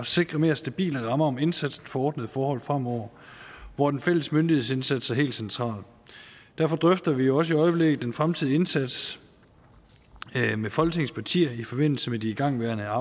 sikre mere stabile rammer om indsatsen for ordnede forhold fremover hvor den fælles myndighedsindsats er helt central derfor drøfter vi også i øjeblikket den fremtidige indsats med folketingets partier i forbindelse med de igangværende